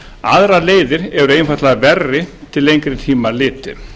aðrar leiðir eru einfaldlega verri til lengri tíma litið